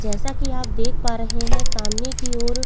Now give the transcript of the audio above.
जैसा की आप देख पा रहे है सामने की ओर --